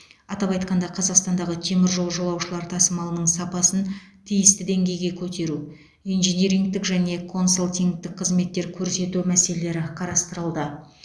атап айтқанда қазақстандағы теміржол жолаушылар тасымалының сапасын тиісті деңгейге көтеру инжинирингтік және консалтингтік қызметтер көрсету мәселелері қарастырылды